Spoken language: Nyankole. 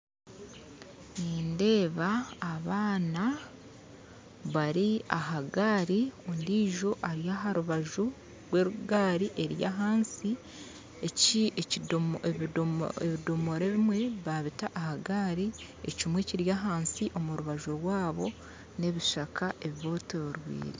Nindeeba abaana bari aha gaari ondijo ari aharubaju rw'egaari eri ahansi ebidoomora ebimwe babita aha gaari ekimwe kiri ahansi omurubaju rwaabo n'ebishaka ebibetoreire